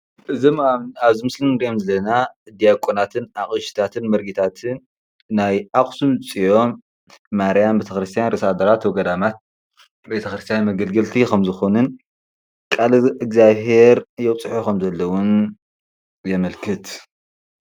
እዚ ኣብ ምስሊ እንሪኦም ዘለና ዲያቆናትን ኣቅሽታትን መርጌታትን ናይ ኣክሱም ፅዮም ማርያም ቤተኽርስትያን ርእሰ ኣድባራት ወገዳማት ቤተክርስትያን መገልገልቲ ከም ዝኾኑን ቃለ እዝጋቢሄር የብፅሑ ከም ዘለዉን የመልክት፡፡